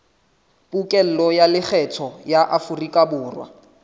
pokello ya lekgetho ya aforikaborwa